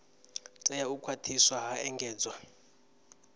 tea u khwathiswa ha engedzwa